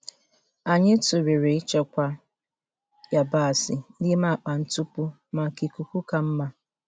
Anyị tụlere ịchekwa yabasị n'ime akpa ntupu maka ikuku ka mma.